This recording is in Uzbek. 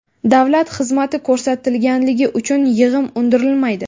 Davlat xizmati ko‘rsatilganligi uchun yig‘im undirilmaydi.